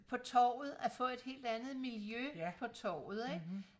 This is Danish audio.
på torvet at få et helt andet miljø på torvet ikke